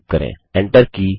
wwwgooglecom type करें